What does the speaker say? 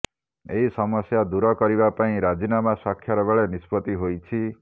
ଏହି ସମସ୍ୟା ଦୂର କରିବା ପାଇଁ ରାଜିନାମା ସ୍ୱାକ୍ଷର ବେଳେ ନିଷ୍ପତ୍ତି ହୋଇଛି